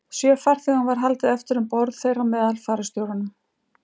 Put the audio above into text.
Sjö farþegum var haldið eftir um borð, þeirra á meðal fararstjóranum.